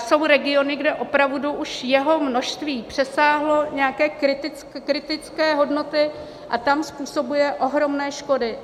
Jsou regiony, kde opravdu už jeho množství přesáhlo nějaké kritické hodnoty a tam způsobuje ohromné škody.